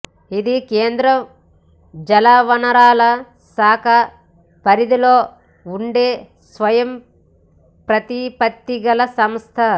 ఇది కేంద్ర జలవనరుల శాఖ పరిధిలో ఉండే స్వయంప్రతిపత్తి గల సంస్థ